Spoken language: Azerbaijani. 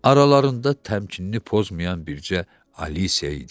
Aralarında təmkinini pozmayan bircə Alisa idi.